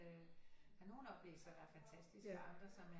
Øh der er nogen oplæsere der er fantastiske og andre som er